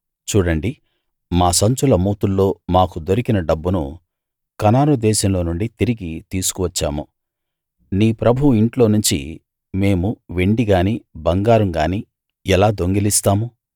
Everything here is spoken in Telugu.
చూడండి మా సంచుల మూతుల్లో మాకు దొరికిన డబ్బును కనాను దేశంలో నుండి తిరిగి తీసుకు వచ్చాము నీ ప్రభువు ఇంట్లో నుంచి మేము వెండి గానీ బంగారం గానీ ఎలా దొంగిలిస్తాము